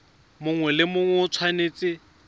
mongwe le mongwe o tshwanetse